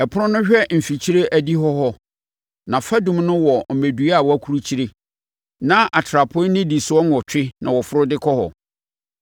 Ɛpono no hwɛ mfikyire adihɔ hɔ; nʼafadum ho wɔ mmɛdua a wɔakurukyire, na atrapoe nnidisoɔ nwɔtwe na wɔforo de kɔ hɔ.